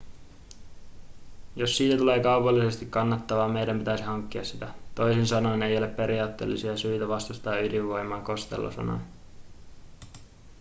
jos siitä tulee kaupallisesti kannattavaa meidän pitäisi hankkia sitä toisin sanoen ei ole periaatteellista syytä vastustaa ydinvoimaa costello sanoi